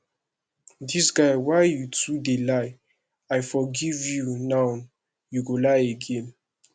dis guy why you too dey lie i forgive you nowyou go lie again